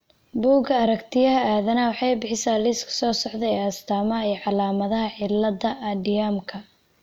Bugga Aaragtiyaha Aadanaha waxay bixisaa liiska soo socda ee astamaha iyo calaamadaha cilada Andermannka .